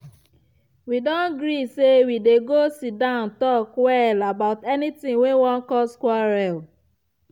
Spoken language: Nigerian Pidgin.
we don gree say we go dey siddan talk well about anything wey wan cause quarrel.